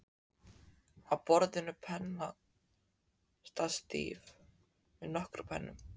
Á borðinu pennastatíf með nokkrum pennum.